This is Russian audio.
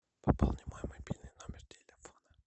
пополни мой мобильный номер телефона